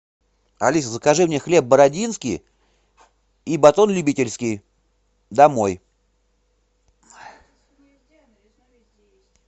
алиса закажи мне хлеб бородинский и батон любительский домой